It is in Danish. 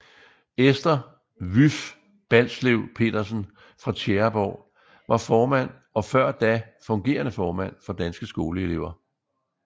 Esther Vyff Balslev Petersen fra Tjæreborg var formand og før da fungerende formand for Danske Skoleelever